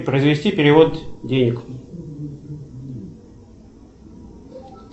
произвести перевод денег